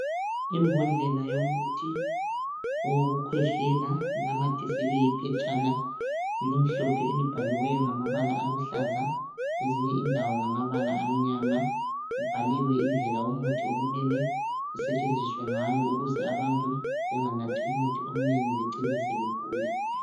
Imbodlela yomuthi owokukhwehlela inamathiselwe iphetshana elimhlophe elibhaliweyo ngamabala aluhlaza ezinye indawo ngamabala amnyama. Kubhaliwe indlela umuthi okumele usetshenziswe ngayo ukuze abantu benganathi umuthi omnengi becine sebegula.